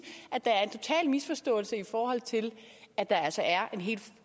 at misforståelse i forhold til at der altså er en helt